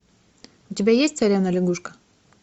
у тебя есть царевна лягушка